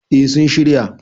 eh sun shirya